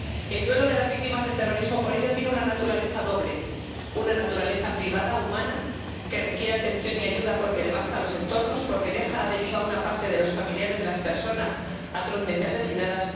El duelo de las víctimas del terrorismo tiene, por ello, una naturaleza doble una naturaleza privada, humana, que requiere atención y ayuda porque devasta los entornos, porque deja a la deriva a una parte de los familiares de las personas atrozmente asesinadas